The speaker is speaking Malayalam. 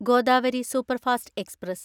Godavari superfast express